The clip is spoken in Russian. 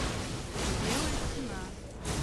белая стена